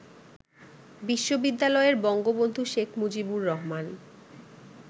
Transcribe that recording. বিশ্ববিদ্যালয়ের বঙ্গবন্ধু শেখ মুজিবুর রহমান